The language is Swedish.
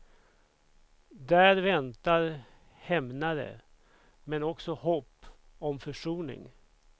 Där väntar hämnare, men också hopp om försoning.